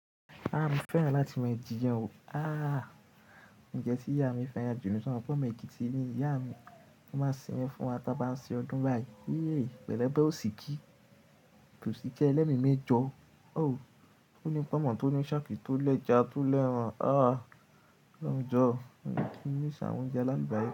À mo fẹ́ràn láti ma jiyan ooo. À, ǹjẹ́ tí ìyá mi fẹ́ran jù nu so mo pe ọmọ ekiti ni iya mi tan baa se iyan fún wa tan bá ń ṣe ọdún báyìí. Héy, pẹ̀lú obẹ́ ọsìkìí, osikii ẹlẹ́mi mẹ́jọ. O, toní pọ̀nmọ́ tòní ṣákì tó lẹ̀já tó lẹ̀ràn. À, olohun jo mo ti miss àwọn oúnjẹ alakubari.